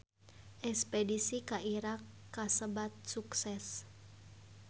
Espedisi ka Irak kasebat sukses